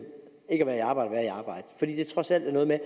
ikke være i arbejde fordi det trods alt er noget med